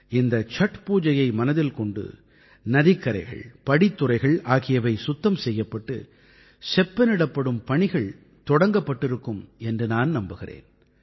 இந்த சட் பூஜையை மனதில் கொண்டு நதிக்கரைகள் படித்துறைகள் ஆகியவை சுத்தம் செய்யப்பட்டு செப்பனிடப்படும் பணிகள் தொடங்கப்பட்டிருக்கும் என்று நான் நம்புகிறேன்